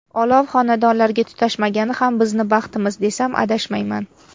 Olov xonadonlarga tutashmagani ham bizni baxtimiz, desam adashmayman.